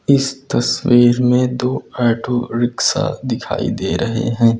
इस तस्वीर में दो ऑटो रिक्शा दिखाई दे रहे हैं।